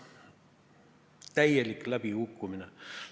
Täielik läbikukkumine.